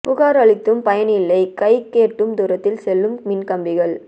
புகார் அளித்தும் பயனில்லை கைக்கு எட்டும் தூரத்தில் செல்லும் மின்கம்பிகள்